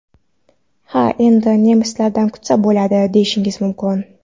Ha endi nemislardan kutsa bo‘ladi, deyishingiz mumkin.